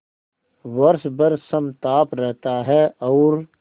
वर्ष भर समताप रहता है और